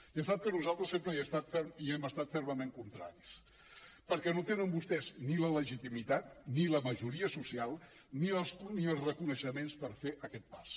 ja sap que nosaltres sempre hi hem estat fermament contraris perquè no tenen vostès ni la legitimitat ni la majoria social ni els reconeixements per fer aquest pas